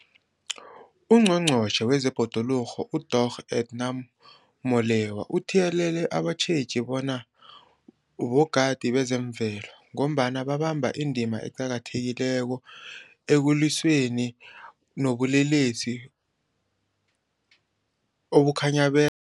UNgqongqotjhe wezeBhoduluko uDorh Edna Molewa uthiyelele abatjheji bona bogadi bezemvelo, ngombana babamba indima eqakathekileko ekulwisaneni nobulelesi obukhinyabeza ibhoduluko, njengokuzunywa kwabobhejani okungas